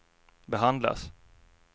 behandlas